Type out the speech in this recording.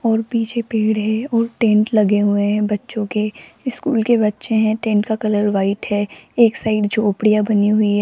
और पीछे पेड़ है और टेंट लगे हुए हैं बच्चों के स्कूल के बच्चे हैं टेंट का कलर वाइट है एक साइड झोपड़ियां बनी हुई है।